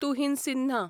Tuhin Sinha